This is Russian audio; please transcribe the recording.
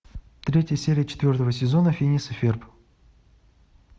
третья серия четвертого сезона финес и ферб